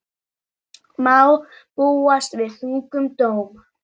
Má búast við þungum dómi